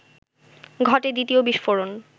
ঘটে দ্বিতীয় বিস্ফোরণ